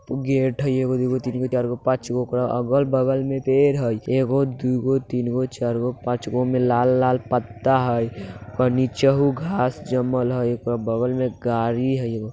Gate है एगो दुगो तीन गो चार गो पाँच गो ओकरा अगल-बगल में पेड़ हेय एगो दुगो तीन गो चार गो पाँच गो में लाल लाल पत्ता हेय ओकरा नीचे हूं घास जमल हेय ओकरा बगल में गाड़ी हेय एगो।